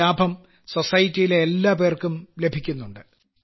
ഈ ലാഭം സൊസൈറ്റിയിലെ എല്ലാപേർക്കും ലഭിക്കുന്നുണ്ട്